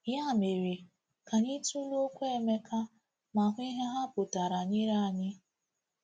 Ya mere, ka anyị tụlee okwu Emeka ma hụ ihe ha pụtara nyere anyị.